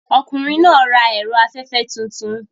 Ọkùnrin náà ń ra ẹ̀rọ afẹ́fẹ́ tuntun.